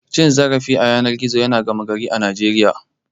Cim zarafi a yanar gizo ya zama gama gari a Najeriya.